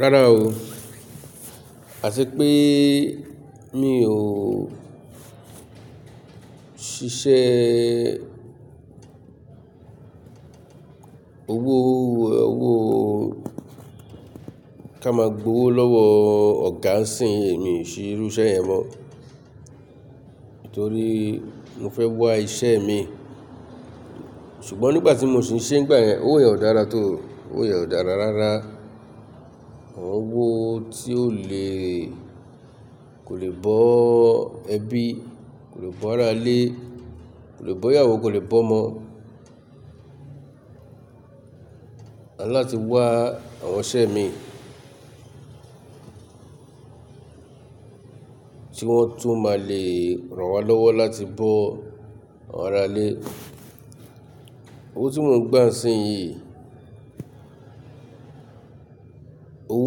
Rárá o, àti pé mi ò ṣiṣẹ́ owó, owó ká máa gbowó lọ́wọ́ ọ̀gá ń sìn, èmi ṣe irú iṣẹ yẹn mọ́. Nítorí mo fẹ́ wá iṣẹ́ mi. Ṣùgbọ́n nígbà tí mo sì ń ṣe ngbà yẹn, owó yẹn ò dára tó, owó yẹn ò dára rárá. Owó tí ó le kò lè bọ́ ẹbí, kò lè bọ́ ara lé, kò lè bọ́ ìyàwó, kò lè bọ́ ọmọ. Àn láti wá àwọn iṣẹ́ mi tí wọ́n tún máa le ràn wá lọ́wọ́ láti bọ́ àwọn ara lé. Owó tí mò ń gbà ń sìn yìí, owó